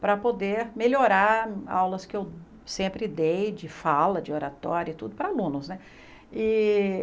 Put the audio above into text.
para poder melhorar aulas que eu sempre dei de fala, de oratório e tudo para alunos né.